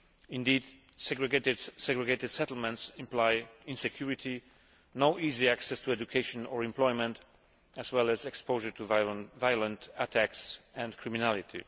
Indeed, segregated settlements imply insecurity, no easy access to education or employment, as well as exposure to violent attacks and criminality.